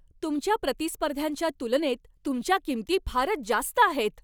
तुमच्या प्रतिस्पर्ध्यांच्या तुलनेत तुमच्या किंमती फारच जास्त आहेत.